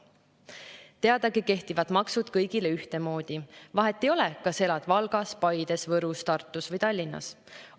Teadagi kehtivad maksud kõigile ühtemoodi, vahet ei ole, kas elad Valgas, Paides, Võrus, Tartus või Tallinnas.